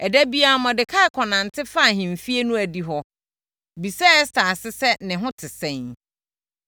Ɛda biara Mordekai kɔnante fa ahemfie no adihɔ hɔ, bisa Ɛster ase sɛ ne ho te sɛn.